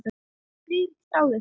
Friðrik þáði það.